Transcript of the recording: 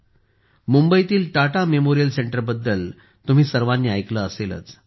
मुंबईतील टाटा मेमोरियल सेंटरबद्दल तुम्ही सर्वांनी ऐकले असेलच